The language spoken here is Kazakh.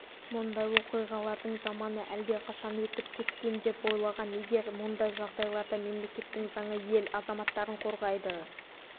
мұндай оқиғалардың заманы әлдеқашан өтіп кеткен деп ойлаған егер мұндай жағдайларда мемлекеттің заңы ел азаматтарын қорғайды